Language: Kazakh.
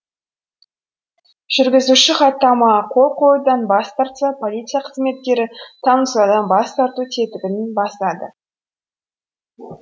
жүргізуші хаттамаға қол қоюдан бас тартса полиция қызметкері танысудан бас тарту тетігін басады